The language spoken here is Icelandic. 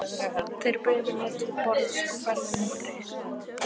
Þeir buðu mér til borðs og færðu mér drykk.